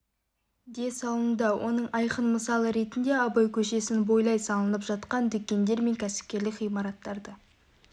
де салынуда оның айқын мысалы ретінде абай көшесін бойлай салынып жатқан дүкендер мен кәсіпкерлік ғимараттарды